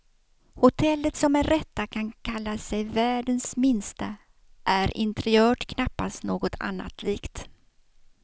Hotellet, som med rätta kan kalla sig världens minsta, är interiört knappast något annat likt.